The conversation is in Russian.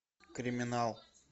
криминал